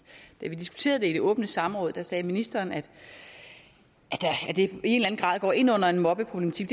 da vi diskuterede det i det åbne samråd sagde ministeren at det i en grad går ind under en mobbeproblematik